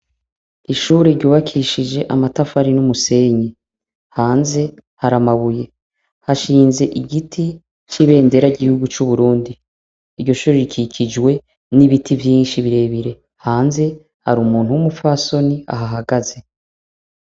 Ishure ryubakishije amatafari n'umusenyi, hanze har’amabuye, hashinze igiti c'ibendera gihugu c'uburundi, iryo shurorikikijwe n'ibiti vyinshi birebire, hanze har’umuntu w'umupfasoni ahahagaze.